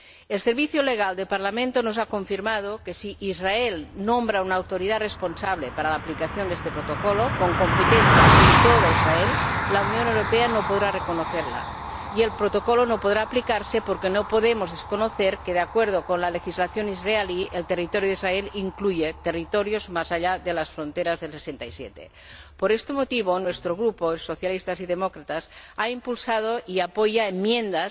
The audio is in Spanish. El Servicio Jurídico del Parlamento nos ha confirmado que si Israel nombra a una autoridad responsable para la aplicación de este Protocolo, con competencia en todo Israel, la Unión Europea no podrá reconocerla y el Protocolo no podrá aplicarse, porque no podemos desconocer que, de acuerdo con la legislación israelí, el territorio de Israel incluye territorios más allá de las fronteras de 1967. Por este motivo, nuestro grupo, Socialistas y Demócratas, ha impulsado y apoya enmiendas